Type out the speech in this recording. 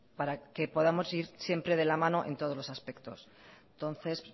para que podamos ir siempre de la mano en todos los aspectos entonces